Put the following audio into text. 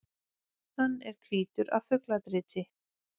Hann er hvítur af fugladriti.